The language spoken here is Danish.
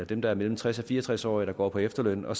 dem der er mellem tres og fire og tres år der går på efterløn og